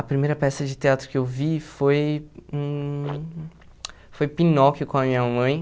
A primeira peça de teatro que eu vi foi hum foi Pinóquio com a minha mãe.